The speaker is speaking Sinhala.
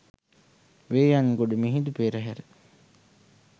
වේයයන්ගොඩ මිහිඳු පෙරහැර